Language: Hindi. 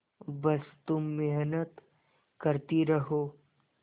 बस तुम मेहनत करती रहो